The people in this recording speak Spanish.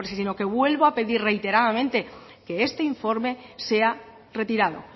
sino que vuelvo a pedir reiteradamente que este informe sea retirado